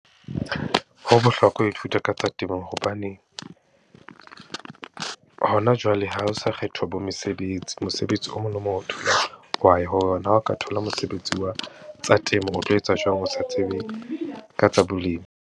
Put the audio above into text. Ho bohlokwa ho ithuta ka tsa temo hobane, hona jwale ha ho sa kgethwa bo mesebetsi. Mosebetsi o mong le o mong . Ha o ka thola mosebetsi wa tsa temo, o tlo etsa jwang o sa tsebe ka tsa bolemi.